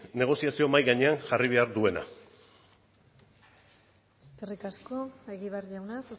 negoziazio mahai gainean jarri behar duela eskerri asko egibar jauna